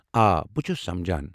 آ، بہٕ چھُس سمجان۔